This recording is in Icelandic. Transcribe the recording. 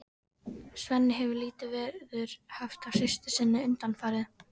Svenni hefur lítið veður haft af systur sinni undanfarið.